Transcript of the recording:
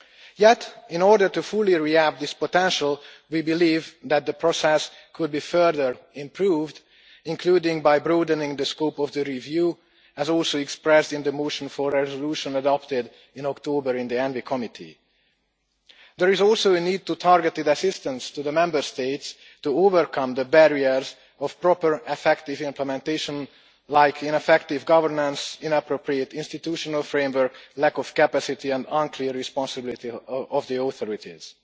Yet, in order to fully realise this potential, we believe that the process could be further improved, including by broadening the scope of the review, as also expressed in the motion for a resolution adopted in October in the Committee on the Environment, Public Health and Food Safety. There is also a need for targeted assistance to the Member States to overcome the barriers of proper, effective implementation, such as ineffective governance, inappropriate institutional framework, lack of capacity and an unclear responsibility of the authorities.